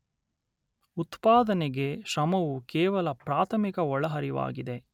ಉತ್ಪಾದನೆಗೆ ಶ್ರಮವು ಕೇವಲ ಪ್ರಾಥಮಿಕ ಒಳಹರಿವಾಗಿದೆ